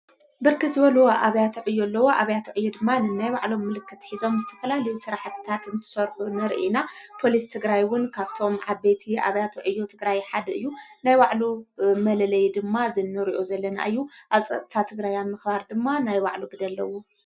በርከት ዝበል ኣብያቶዕዮ ኣለዎ ኣብያቶዕዩ ድማን እናይ ባዕሎም ምልከት ኂዞም ስ ተፈላ ልዩ ሥራሕትታት እንትሠሎ ነርኢና ጶልስ ትግራይውን ካብቶም ዓበቲ ኣብያቶ ዕዮ ትግራይ ሓድ እዩ ናይባዕሉ መለለይ ድማ ዘኖርኦ ዘለና እዩ ኣብጸቕታ ተግራያ ምኽባር ድማ ናይ ባዕሉ ግደ ኣለዉ::